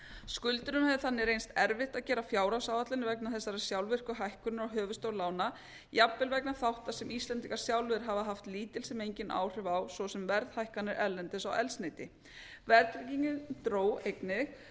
skuldurum hefur þannig reynst erfitt að gera fjárhagsáætlanir vegna þessarar sjálfvirku hækkunar á höfuðstól lána jafnvel vegna þátta sem íslendingar sjálfir hafa haft lítil sem engin áhrif á svo sem verðhækkanir erlendis á eldsneyti verðtryggingin dró einnig